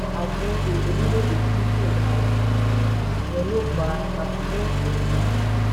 orílẹ̀ èdè tí nṣẹ̀dá ọjà ìyẹn ló fà á táa kòwòlẹ̀